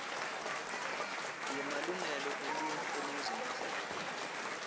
yemalungelo eluntfu eningizimu